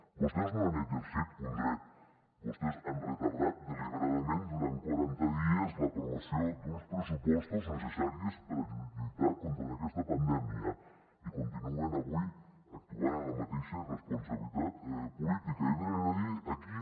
vostès no han exercit un dret vostès han retardat deliberadament durant quaranta dies l’aprovació d’uns pressupostos necessaris per a lluitar contra aquesta pandèmia i continuen avui actuant amb la mateixa irresponsabilitat política i venen a dir aquí